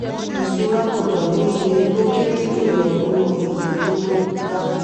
ìṣura gbọ́dọ̀ ní iye tó kéré jù lọ nínú iye to to dá.